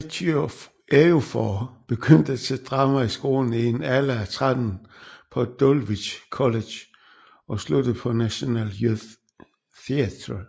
Ejiofor begyndte til drama i skolen i en alder af tretten på Dulwich College og sluttede på National Youth Theatre